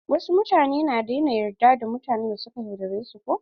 Wasu mutane na daina yarda da mutanen da suka yaudare su ko.